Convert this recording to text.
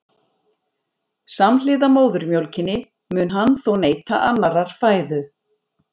Samhliða móðurmjólkinni mun hann þó neyta annarrar fæðu.